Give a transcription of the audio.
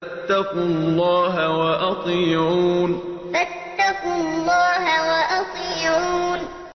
فَاتَّقُوا اللَّهَ وَأَطِيعُونِ فَاتَّقُوا اللَّهَ وَأَطِيعُونِ